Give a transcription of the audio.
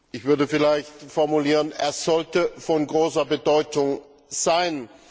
Ich würde vielleicht formulieren Er sollte von großer Bedeutung sein.